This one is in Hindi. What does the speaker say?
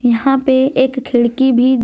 यहां पे एक खिड़की भी--